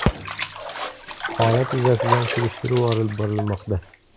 Holat yuzasidan surishtiruv olib borilmoqda.